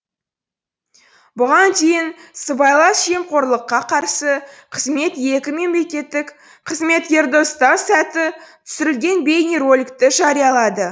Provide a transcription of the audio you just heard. бұған дейін сыбайлас жемқорлыққа қарсы қызмет екі мемлекеттік қызметкерді ұстау сәті түсірілген бейнероликті жариялады